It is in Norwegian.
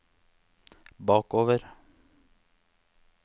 bakover